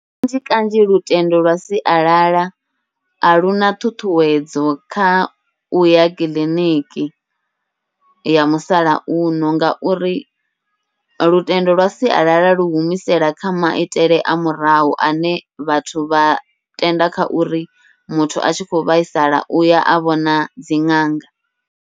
Kanzhi kanzhi lutendo lwa sialala a luna ṱhuṱhuwedzo kha uya kiḽiniki ya musalauno, ngauri lutendo lwa sialala lu humisela kha maitele a murahu ane vhathu vha tenda kha uri muthu a tshi khou vhaisala uya a vhona dzi ṅanga.